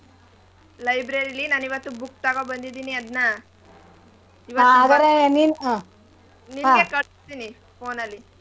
Library ಲಿ ನಾನ್ ಇವತ್ತು book ತಗೊಬಂದಿದೀನಿ ಅದ್ನ ನಿಂಗೆ. ಕಳ್ಸ್ತೀನಿ phone ಅಲ್ಲಿ.